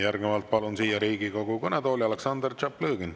Järgnevalt palun siia Riigikogu kõnetooli Aleksandr Tšaplõgini.